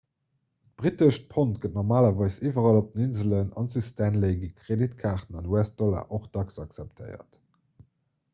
d'brittescht pond gëtt normalerweis iwwerall op den inselen an zu stanley gi kreditkaarten an us-dollar och dacks akzeptéiert